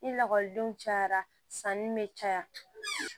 Ni lakɔlidenw cayara sanni bɛ caya